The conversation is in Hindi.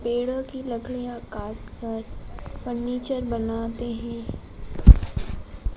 पेड़ों की लकड़ियां काटकर फर्नीचर बनाते हैं।